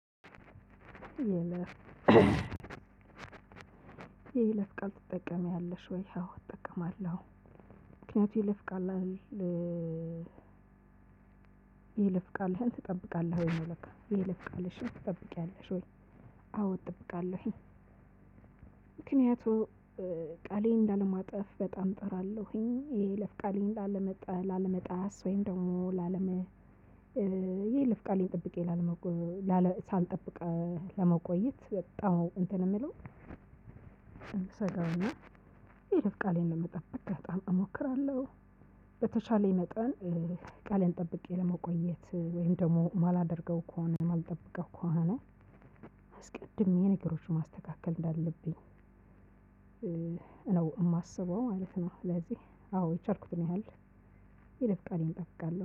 የይለፍ ቃል ትጠቀሚያለሽ? ወይ አዎ እጠቀማለሁ። ምክንያቱም የይለፍ ቃል? የይለፍቃልህን ትጠብቃለህ ወይ ነው የይለፍቃልሽን ትጠብቂያለሽ ወይ? አዎ እጠብቃለሁኝ። ምክንያቱም ቃሌን ላለማጠፍ በጣም ጥራለሁኝ የይለፍ ቃሌን ላለመጣ ላለመጣስ ወይም ደግሞ ላለመ የይለፍ ቃሌን ጠብቄ ላለመቆየት ሳልጠብቅ ለመቆየት በጣም ነው እንትን የሚለው። እምሰጋው እና የይለፍ ቃሌን ለመጠብቅ በጣም እሞክራለሁ። በተቻለኝ መጠን ቃሌን ጠብቄ ለመቆየት ወይም ደግሞ ማላደርገው ከሆነ ማልጠብቀው ከሆነ። አስቀድሜ ነገሮችን ማስተካከል እንዳለብኝ ነው የማስበው ማለት ነው። ለዚህ አዎ የቻልኩትን ያህል የይለፍ ቃሌን ጠብቃለሁ